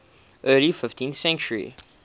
early fifteenth century